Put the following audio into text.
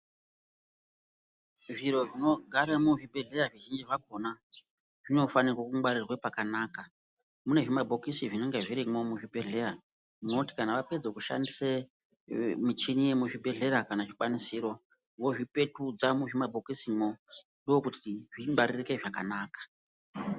Zviro zvinogare muzvibhedhlera zvizhinji zvakona zvinofanirwe kungwarirwa pakanaka , mune zvimabhokisi zvinenge zvirimwo muzvibhedhlera zvinoti kana wapedze kushandise michini yemuzvibhedhlera kana kuti zvikwanisiro wozvipetudza muzvima bhokisi umomo ndokuti zvingwaririke zvakanaka.